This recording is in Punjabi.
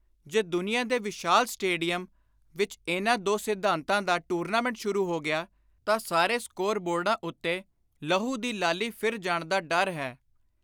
ਜੇ ਦੁਨੀਆਂ ਦੇ ਵਿਸ਼ਾਲ ਸਟੇਡੀਅਮ ਵਿਚ ਇਨ੍ਹਾਂ ਦੋ ਸਿਧਾਂਤਾਂ ਦਾ ਟੁਰਨਾਮੈਂਟ ਸ਼ੁਰੂ ਹੋ ਗਿਆ ਤਾਂ ਸਾਰੇ ਸਕੋਰ-ਬੋਰਡਾਂ ਉੱਤੇ ਲਹੂ ਦੀ ਲਾਲੀ ਫਿਰ ਜਾਣ ਦਾ ਡਰ ਹੈ।